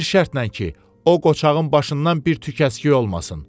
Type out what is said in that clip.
amma bir şərtlə ki, o qocağın başından bir tük əskik olmasın.